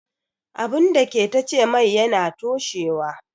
Abun dake tace mai yana toshewa